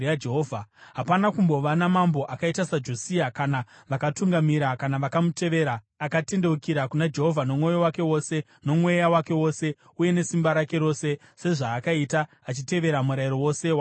Hapana kumbova namambo akaita saJosia kuna vakamutangira kana vakamutevera, akatendeukira kuna Jehovha nomwoyo wake wose, nomweya wake wose, uye nesimba rake rose, sezvaakaita achitevera Murayiro wose waMozisi.